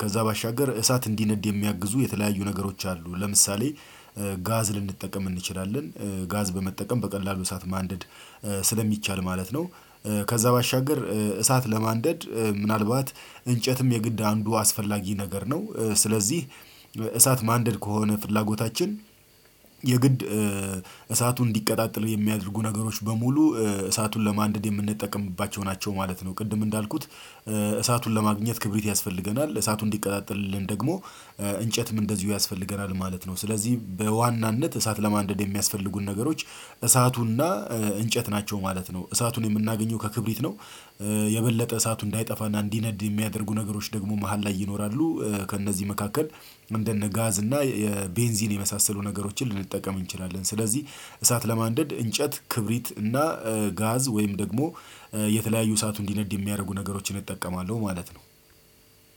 ከዛ ባሻገር እሳት እንዲነድ የሚያግዙ የተለያዩ ነገሮች አሉ ለምሳሌ። ጋዝ ልንጠቀም እንችላለን ጋዝ በመጠቀም በቀላሉ ሰዓት ማንደድ ስለሚቻል ማለት ነው። ከዛ ባሻገር እሳት ለማንደድ ምናልባት እንጨትም የግድ አንዱ አስፈላጊ ነገር ነው ስለዚህ እሳት ማንደድ ከሆነ ፍላጎታችን የግድ እሳቱን እንዲቀጣጠል የሚያደርጉ ነገሮች በሙሉ እሳቱን ለማንደድ የምንጠቀምባቸው ናቸው ማለት ነው። ቅድም እንዳልኩት እሳቱን ለማግኘት ክብሪት ያስፈልገናል እሳቱ እንዲቀጣጠልልን ደግሞ እንጨትም እንደዚሁ ያስፈልገናል ማለት ነው። ስለዚህ በዋናነት እሳት ለማንደድ የሚያስፈልጉን ነገሮች እሳቱንና እንጨት ናቸው ማለት ነው እሳቱን የምናገኘው ከክብሪት ነው። የበለጠ እሳቱ እንዳይጠፋና እንዲነድ የሚያደርጉ ነገሮች ደግሞ መሃል ላይ ይኖራሉ ከእነዚህ መካከል እንደነ ጋዝ እና ቤንዚን የመሳሰሉ ነገሮችን ልንጠቀም እንችላለን። ስለዚህ እሳት ለማንደድ እንጨት ክብሪት እና ጋዝ ወይም ደግሞ የተለያዩ ሰዓቱ እንዲነድ የሚያደርጉ ነገሮችን እጠቀማለሁ ማለት ነው።